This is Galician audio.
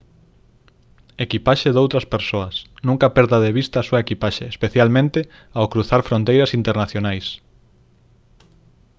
equipaxe doutras persoas nunca perda de vista a súa equipaxe especialmente ao cruzar fronteiras internacionais